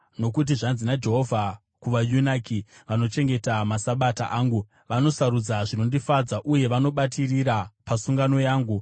Nokuti zvanzi naJehovha: “Kuvayunaki vanochengeta maSabata angu, vanosarudza zvinondifadza, uye vanobatirira pasungano yangu,